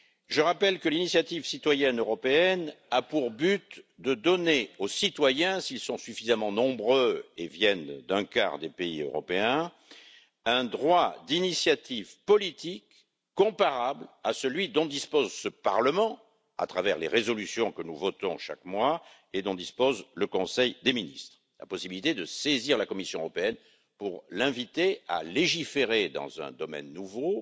Je rappelle que l'initiative citoyenne européenne a pour but de donner aux citoyens, s'ils sont suffisamment nombreux et viennent d'un quart des pays européens, un droit d'initiative politique comparable à celui dont dispose ce Parlement, à travers les résolutions que nous votons chaque mois et dont dispose le Conseil des ministres la possibilité de saisir la Commission européenne pour l'inviter à légiférer dans un domaine nouveau,